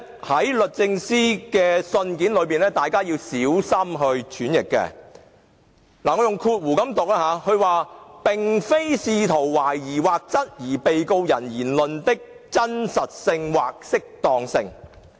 第一，律政司表示"並非試圖懷疑或質疑......被告人......言論的真實性或適當性"。